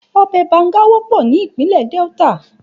Òbè bàngá wòpò ni Ipinlè Delta